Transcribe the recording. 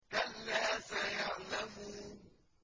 كَلَّا سَيَعْلَمُونَ